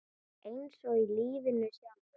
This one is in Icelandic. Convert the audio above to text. Eins og í lífinu sjálfu.